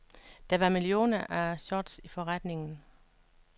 Der var millioner af shorts i forretningen.